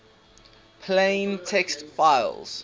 plain text files